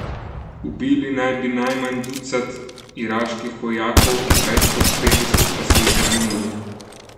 Ubili naj bi najmanj ducat iraških vojakov, več kot petdeset pa so jih ranili.